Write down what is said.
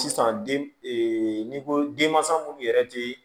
Sisan den n'i ko denmansa minnu yɛrɛ tɛ